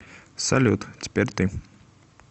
салют теперь ты